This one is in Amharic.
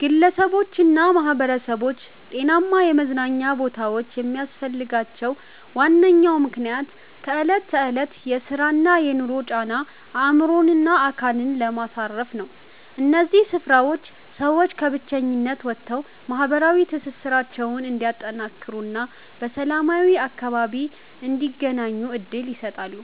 ግለሰቦችና ማኅበረሰቦች ጤናማ የመዝናኛ ቦታዎች የሚያስፈልጋቸው ዋነኛው ምክንያት ከዕለት ተዕለት የሥራና የኑሮ ጫና አእምሮንና አካልን ለማሳረፍ ነው። እነዚህ ስፍራዎች ሰዎች ከብቸኝነት ወጥተው ማኅበራዊ ትስስራቸውን እንዲያጠናክሩና በሰላማዊ አካባቢ እንዲገናኙ ዕድል ይሰጣሉ።